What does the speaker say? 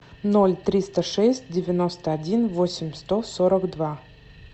ноль триста шесть девяносто один восемь сто сорок два